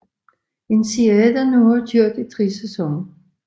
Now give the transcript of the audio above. En serie der nu har kørt i tre sæsoner